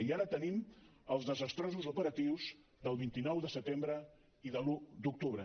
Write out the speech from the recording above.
i ara tenim els desastrosos operatius del vint nou de setembre i de l’un d’octubre